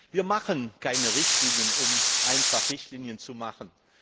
Wir machen keine Richtlinien, nur um Richtlinien zu machen.